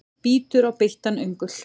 Bítur á beittan öngul.